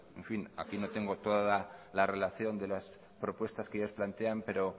en fin aquí no tengo toda la relación de las propuestas que ellos plantean pero